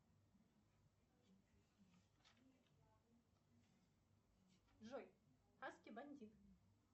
джой хаски бандит